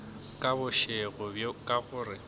ka bošego bjo ka gore